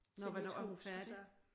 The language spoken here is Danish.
Nå hvornår er hun færdig?